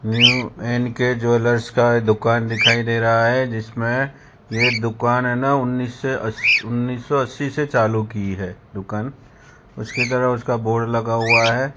New N K jewellers का दुकान दिखाई दे रहा है जिसमें ये दुकान है ना उन्नीस सौ अस उन्नीस सौ अस्सी से चालू की है दुकान उसकी तरह उसका बोर्ड लगा हुआ है।